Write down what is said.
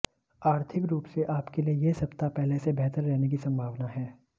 आर्थिक रुप से आपके लिये यह सप्ताह पहले से बेहतर रहने की संभावना है